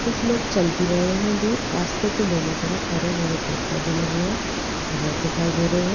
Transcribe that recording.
कुछ लोग चल भी रहे है दूर रास्ते के दोनों तरफ हरे-भरे पेड़-पौधे लगे है घास दिखाई दे रहे है।